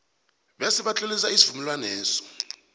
bese batlolisa isivumelwaneso